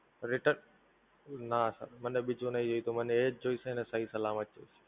return? નાં Sir મને બીજું નહિ એ તો મને એજ જોઈશે ને સહી સલામત!